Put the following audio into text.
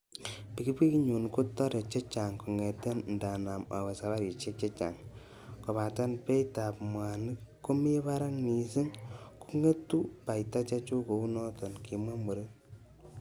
"Pikipikinyun kotore chechang kongeten indanam awe saparisiek chechang, kobaten beitab mwanik komi barak missing, kongetu baita chechuk kounoton,"kimwa muren.